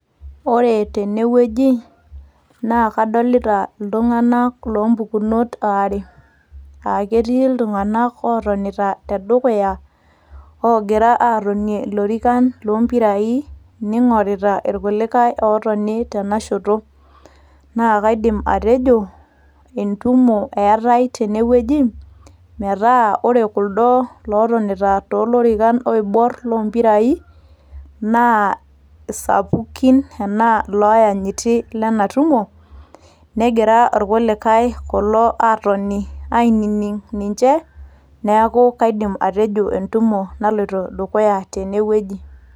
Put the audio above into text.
Ore tenewueji, na kadolita iltung'anak lompukunot aare. Ah ketii iltung'anak otonita ogira atonie ilorikan lompirai ning'orita ilkulikae lotoni tenashoto. Na kaidim atejo, entumo eetae tenewueji, metaa ore kuldo lotonita tolorikan oibor lompirai, naa isapukin, enaa iloyanyiti lenatumo, negira irkulikae kulo atoni ainining' ninche. Neeku kaidim atejo entumo naloito dukuya tenewueji.